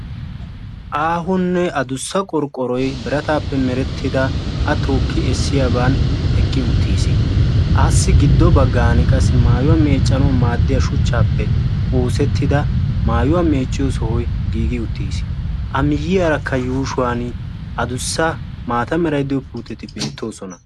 Aahonne addussa qorqqoroy biratappe meretidda a tookki essiyaaban eqqi uttiis. Assi giddo baggan qassi maattuwa meeccanaw maaddiya shuchchappe oosetida maayyuwaa meecciyo sohoy giigi uttiis. A miyyiyaaraka yuushshuwan addussa maata meray de'iyo puutetti beettoosona.